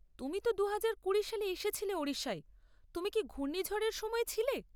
তুমি তো দুহাজার কুড়ি সালে এসেছিলে ওড়িশায়, তুমি কি ঘূর্ণিঝড় এর সময়ে ছিলে?